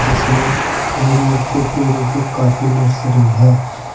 जिसमें अमरूद के पेड़ों की काफी नर्सरी है।